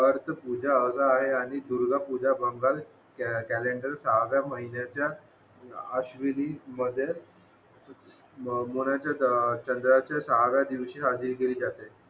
पूजा असा आहे आणि दुर्गा पूजा बंगाल कॅलेंडर सहाव्या महिन्याच्या अश्विनी मध्ये चंद्राच्या सहाव्या दिवशी साजरी केली जाते